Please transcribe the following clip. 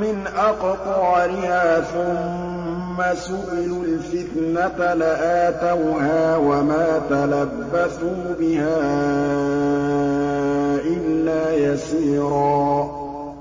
مِّنْ أَقْطَارِهَا ثُمَّ سُئِلُوا الْفِتْنَةَ لَآتَوْهَا وَمَا تَلَبَّثُوا بِهَا إِلَّا يَسِيرًا